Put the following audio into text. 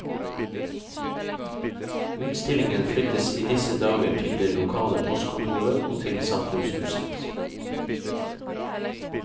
Utstillingen flyttes i disse dager til det lokale postkontoret og til samfunnshuset.